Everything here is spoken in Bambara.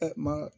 ma